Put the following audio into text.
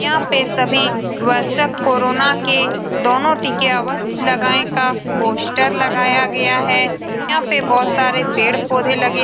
यहाँ पे सभी वो सब कोरोना के दोनों टीके अवश्य लगाए का पोस्टर लगाया गया है यहाँ पे बहुत सारे पेड़ पौधे लगे --